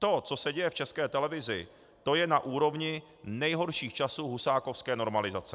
To, co se děje v České televizi, to je na úrovni nejhorších časů husákovské normalizace.